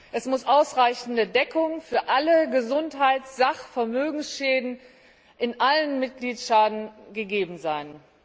Es muss eine ausreichende Deckung für alle Gesundheits Sach und Vermögensschäden in allen Mitgliedstaaten gegeben sein.